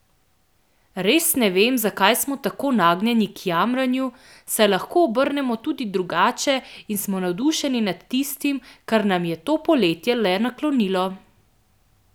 Res ne vem, zakaj smo tako nagnjeni k jamranju, saj lahko obrnemo tudi drugače in smo navdušeni nad tistim, kar nam je to poletje le naklonilo!